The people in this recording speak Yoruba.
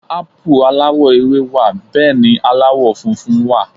Ápù aláwọ̀ ewé wà Bẹ́ẹ̀ni aláwọ̀ funfun wà